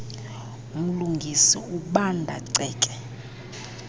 mlungisi ubanda ceke